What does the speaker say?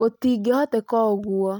Gũtingĩhoteka ũguo